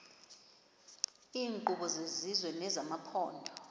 iinkqubo zesizwe nezamaphondo